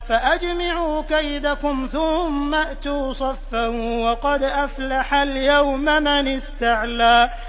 فَأَجْمِعُوا كَيْدَكُمْ ثُمَّ ائْتُوا صَفًّا ۚ وَقَدْ أَفْلَحَ الْيَوْمَ مَنِ اسْتَعْلَىٰ